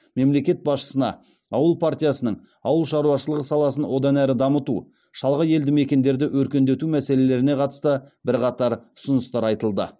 мемлекет басшысына ауыл партиясының ауыл шаруашылығы саласын одан әрі дамыту шалғай елді мекендерді өркендету мәселелеріне қатысты бірқатар ұсыныстар айтылды